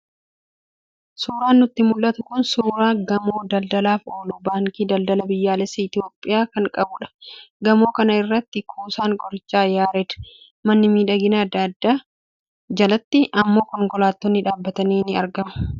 Suuraan nutti mul'atu kun suuraa gamoo daldalaaf oolu, Baankii Daldalaa Biyyoolessaa Itoophiyaa kan qabudha. Gamoo kana irratti kuusaan qorichaa Yaareed, manni miidhaginaa adda addaa, jalatti immoo konkolaattonni dhaabbatanii ni argamu.